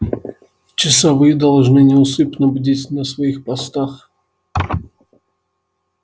часовые должны неусыпно бдить на своих постах